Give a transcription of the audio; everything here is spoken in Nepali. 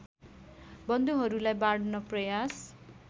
बन्धुहरूलाई बाँड्न प्रयास